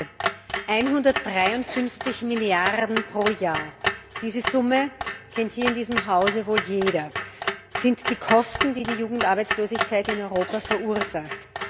Frau Präsidentin! 153 Milliarden pro Jahr diese Summe kennt hier in diesem Hause wohl jeder sind die Kosten, die die Jugendarbeitslosigkeit in Europa verursacht.